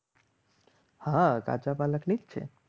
હા કાચા પાલકની જ છે.